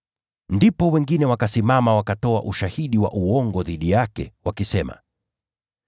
Ndipo wengine wakasimama wakatoa ushahidi wa uongo dhidi yake, wakisema: